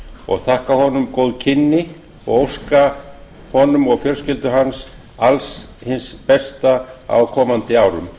og þakka honum góð kynni og óska honum og fjölskyldu hans alls hins besta á komandi árum